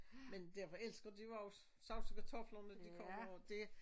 Men derfor elsker de jo også sovs og kartofler når de kommer og det